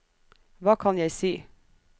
hva kan jeg si